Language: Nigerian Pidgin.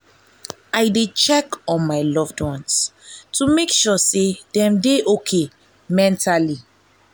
i dey check on my loved ones to make sure say dem dey okay mentally.